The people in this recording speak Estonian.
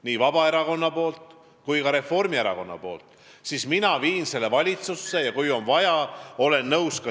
Nii Vabaerakond kui ka Reformierakond olid ju vastavad muudatusettepanekud teinud.